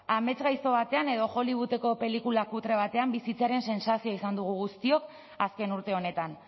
amets gaizto batean edo hollywoodeko pelikula kutre batean bizitzearen sentsazioa izan dugu guztiok azken urte honetan